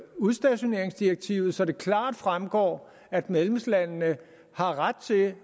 udstationeringsdirektivet så det klart fremgår at medlemslandene har ret til